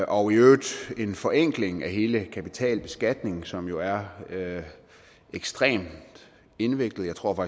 og i øvrigt en forenkling af hele kapitalbeskatningen som jo er ekstremt indviklet jeg tror